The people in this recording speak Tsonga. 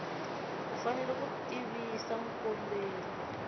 u fanele ku tivisa mukomberi